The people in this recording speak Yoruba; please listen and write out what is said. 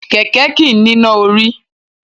Kẹ̀kẹ́ kìí níná orí.